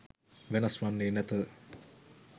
වෙනස් වන්නේ නැත.